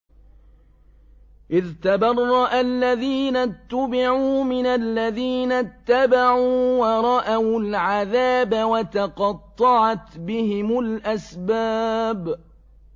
إِذْ تَبَرَّأَ الَّذِينَ اتُّبِعُوا مِنَ الَّذِينَ اتَّبَعُوا وَرَأَوُا الْعَذَابَ وَتَقَطَّعَتْ بِهِمُ الْأَسْبَابُ